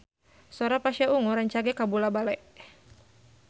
Sora Pasha Ungu rancage kabula-bale